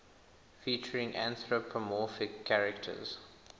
featuring anthropomorphic characters